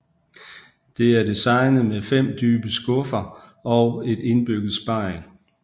Det er designet med 5 dybe skuffe og et indbygget spejl